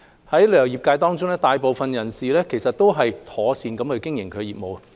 旅遊業界中，大部分人士一直妥善經營業務。